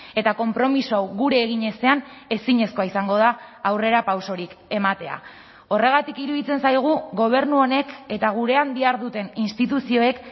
eta konpromiso hau gure egin ezean ezinezkoa izango da aurrerapausorik ematea horregatik iruditzen zaigu gobernu honek eta gurean diharduten instituzioek